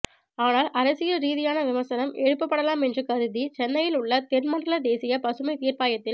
ஆனால் அரசியல் ரீதியான விமர்சனம் எழுப்பபடலாம் என்று கருதி சென்னையில் உள்ள தென்மண்டல தேசிய பசுமை தீர்பாயத்தில்